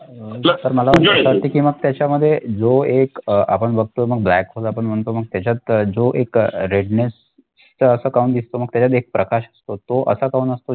की मग त्याच्यामध्ये जो एक अह आपण बघतो मग black hole आपण म्हणतो मग त्याच्यात जो एक redness तो असा काऊन दिसतो मग त्याच्यात एक प्रकाश असतो तो असा काऊन असतो?